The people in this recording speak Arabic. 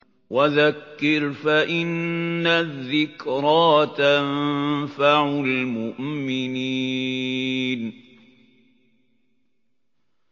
وَذَكِّرْ فَإِنَّ الذِّكْرَىٰ تَنفَعُ الْمُؤْمِنِينَ